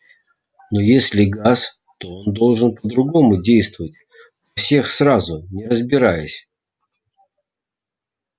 но если газ то он должен по-другому действовать всех сразу не разбираясь